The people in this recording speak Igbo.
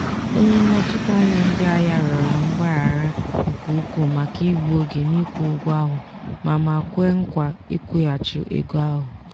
onye nnọchiteanya ndị ahịa rịọrọ mgbaghara nke ukwuu maka igbu oge n'ikwụ ụgwọ ahụ ma ma kwe nkwa nkwụghachi ego ahụ.